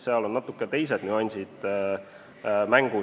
Seal on natuke teised nüansid mängus.